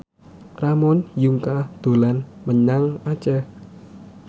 Ramon Yungka dolan menyang Aceh